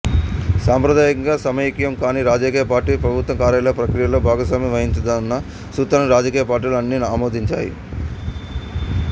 సంప్రదాయంగా సమైఖ్యం కాని రాజకీయ పార్టీ ప్రభుత్వ కార్యాలయ ప్రక్రియలో భాగస్వామ్యం వహించకూడదన్న సూత్రాన్ని రాజకీయ పార్టీలు అన్ని ఆమోదించాయి